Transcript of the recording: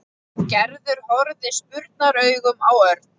Gerður horfði spurnaraugum á Örn.